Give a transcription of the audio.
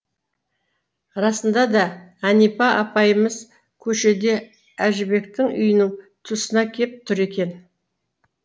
расында да әнипа апайымыз көшеде әжібектің үйінің тұсына кеп тұр екен